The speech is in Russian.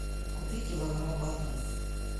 купи килограмм бананов